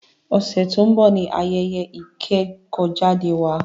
Ọ̀sẹ̀ tí o ń bọ̀ ní ayẹyẹ ìkẹ́kọ̀jáde wa.